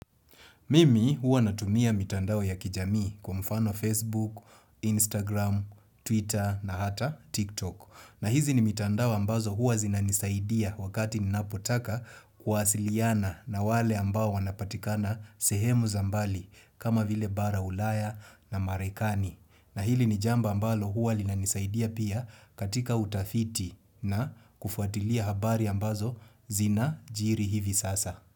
Mimi huwa natumia mitandao ya kijamii kwa mfano Facebook, Instagram, Twitter na hata TikTok. Na hizi ni mitandao ambazo huwa zinanisaidia wakati ninapotaka kwasiliana na wale ambao wanapatikana sehemu za mbali kama vile bara ulaya na marekani. Na hili ni jamba ambalo huwa linanisaidia pia katika utafiti na kufuatilia habari ambazo zina jiri hivi sasa.